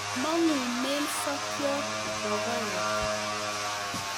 Mong'unen sokiot rokoet.